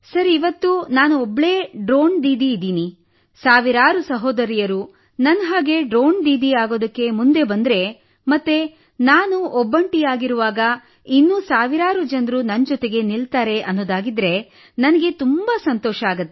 ಇಂದು ನಾನು ಒಬ್ಬಳೇ ಡ್ರೋನ್ ದೀದಿ ಇದ್ದೀನಿ ಸಾವಿರಾರು ಸಹೋದರಿಯರು ನನ್ನಂತೆ ಡ್ರೋನ್ ದೀದಿಯಾಗಲು ಮುಂದೆ ಬಂದರೆ ಮತ್ತು ನಾನು ಒಬ್ಬಂಟಿಯಾಗಿರುವಾಗ ಇನ್ನೂ ಸಾವಿರಾರು ಜನರು ನನ್ನೊಂದಿಗೆ ನಿಲ್ಲುತ್ತಾರೆ ಎಂದಾದರೆ ನನಗೆ ತುಂಬಾ ಸಂತೋಷವಾಗುತ್ತದೆ